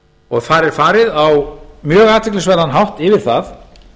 og þar er farið á mjög athyglisverðan hátt yfir það